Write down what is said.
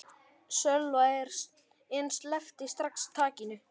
Sölva en sleppti strax takinu.